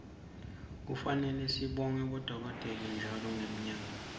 kufane sibone bodokotela ntjalo ngenyanga